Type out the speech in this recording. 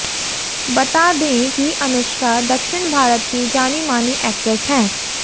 बता दें कि अनुष्का दक्षिण भारत की जानी मानी एक्ट्रेस हैं